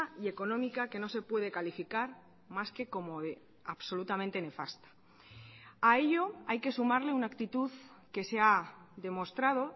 y económica que no se puede calificar más que como absolutamente nefasta a ello hay que sumarle una actitud que se ha demostrado